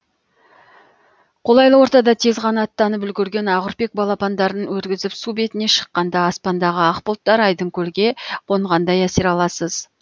қолайлы ортада тез қанаттанып үлгерген ақүрпек балапандарын өргізіп су бетіне шыққанда аспандағы ақ бұлттар айдын көлге қонғандай әсер аласыз